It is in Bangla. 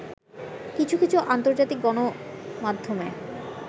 কিছু কিছু আন্তর্জাতিক গণমাধ্যমে